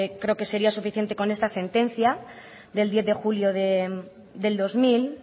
creo que sería suficiente con esta sentencia del diez de julio del dos mil